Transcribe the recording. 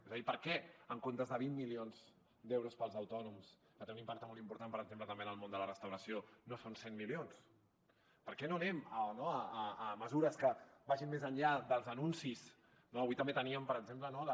és a dir per què en comptes de vint milions d’euros per als autònoms que té un impacte molt important per exemple també en el món de la restauració no són cent milions per què no anem a mesures que vagin més enllà dels anuncis avui també teníem per exemple la